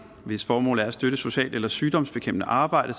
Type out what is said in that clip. hvis formål er at støtte socialt eller sygdomsbekæmpende arbejde